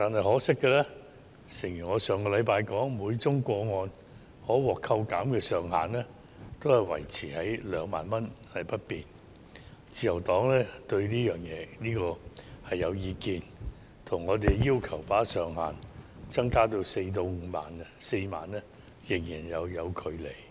可惜的是，承如我上星期所說，每宗個案可獲扣減的上限維持在2萬元不變，自由黨對此頗有意見，因為與我們要求把上限增加至4萬元仍有一段距離。